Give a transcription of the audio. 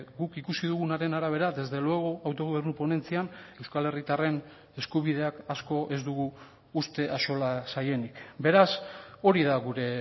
guk ikusi dugunaren arabera desde luego autogobernu ponentzian euskal herritarren eskubideak asko ez dugu uste axola zaienik beraz hori da gure